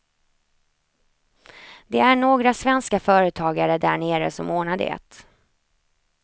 Det är några svenska företagare där nere som ordnar det.